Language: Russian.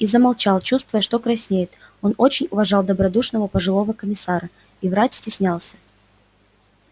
и замолчал чувствуя что краснеет он очень уважал добродушного пожилого комиссара и врать стеснялся